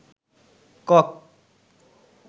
cock